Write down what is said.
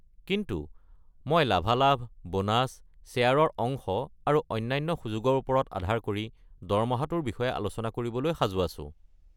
কিন্তু মই লাভালাভ, বোনাছ, শ্বেয়াৰৰ অংশ আৰু অন্যান্য সুযোগৰ ওপৰত আধাৰ কৰি দৰমহাটোৰ বিষয়ে আলোচনা কৰিবলৈ সাজু আছো।